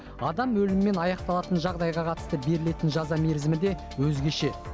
адам өлімімен аяқталатын жағдайға қатысты берілетін жаза мерзімі де өзгеше